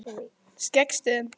Skeggjastöðum